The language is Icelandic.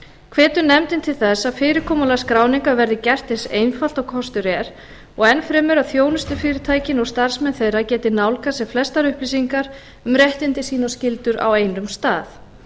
hvetur nefndin til þess að fyrirkomulag skráningar verði gert eins einfalt og kostur er og enn fremur að þjónustufyrirtækin og starfsmenn þeirra geti nálgast sem flestar upplýsingar um réttindi sín og skyldur á einum stað